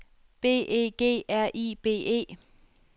B E G R I B E